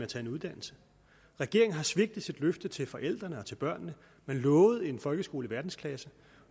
tage en uddannelse regeringen har svigtet sit løfte til forældrene og til børnene man lovede en folkeskole i verdensklasse